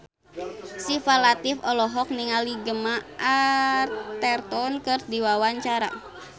Syifa Latief olohok ningali Gemma Arterton keur diwawancara